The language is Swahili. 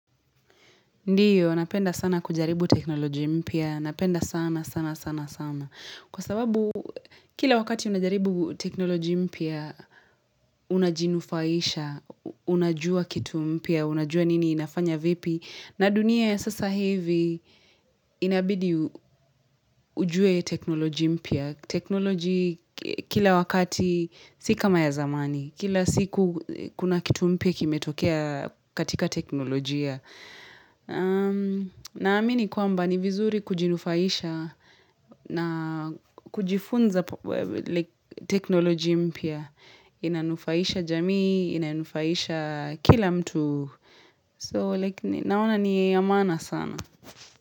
Ndiyo, napenda sana kujaribu teknolojia mpya. Napenda sana, sana, sana, sana. Kwa sababu, kila wakati unajaribu teknolojia mpya, unajinufaisha, unajua kitu mpya, unajua nini, inafanya vipi. Na dunia ya sasa hivi, inabidi ujue teknolojia mpya. Teknolojia, kila wakati, sika kama ya zamani. Kila siku, kuna kitu mpia, kime tokea katika teknolojia. Na amini kwamba ni vizuri kujinufaisha na kujifunza teknoloji mpya. Inanufaisha jamii, inanufaisha kila mtu. So naona ni ya maana sana.